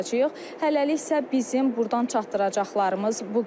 Hələlik isə bizim burdan çatdıracaqlarımız bu qədər.